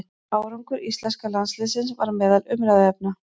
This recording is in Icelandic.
Árangur íslenska landsliðsins var meðal umræðuefna.